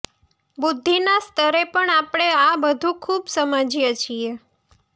બુદ્ધીના સ્તરે પણ આપણે આ બધું ખુબ સમજીએ છીએ